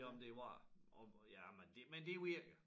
Ja men det var jeg og jamen det men det virker